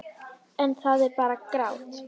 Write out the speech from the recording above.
En það er bara grátt.